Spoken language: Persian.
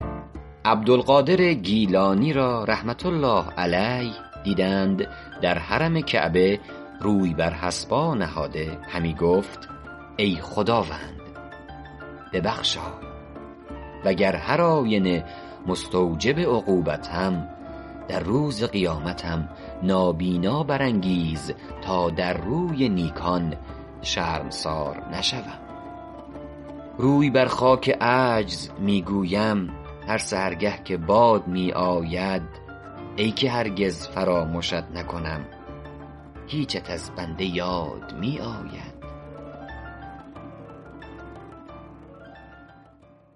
عبدالقادر گیلانی را رحمة الله علیه دیدند در حرم کعبه روی بر حصبا نهاده همی گفت ای خداوند ببخشای وگر هرآینه مستوجب عقوبتم در روز قیامتم نابینا برانگیز تا در روی نیکان شرمسار نشوم روی بر خاک عجز می گویم هر سحرگه که باد می آید ای که هرگز فرامشت نکنم هیچت از بنده یاد می آید